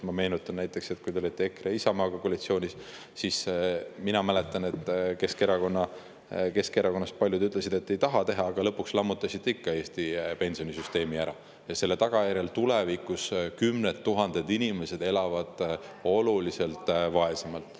Ma meenutan, et kui te olite EKRE ja Isamaaga koalitsioonis, siis Keskerakonnast paljud ütlesid, et te ei taha seda teha, aga lõpuks lammutasite ikka Eesti pensionisüsteemi ära ja selle tagajärjel tulevikus kümned tuhanded inimesed elavad oluliselt vaesemalt.